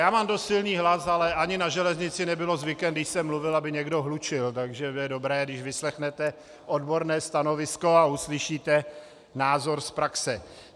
Já mám dost silný hlas, ale ani na železnici nebylo zvykem, když jsem mluvil, aby někdo hlučil, takže bude dobré, když vyslechnete odborné stanovisko a uslyšíte názor z praxe.